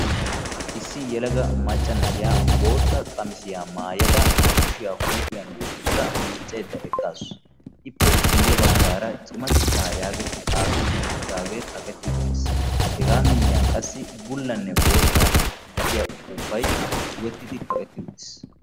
Issi yelaga maca na'iya bootta qamissiya maayadda ba kushiya huuphiyan wottaddda de'awussu ettappe bolla bagan uppuuppay kaqqetti uttiis.